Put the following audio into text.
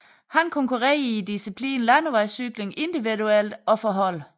Han konkurrerede i diciplinen Landevejscykling individuelt og for hold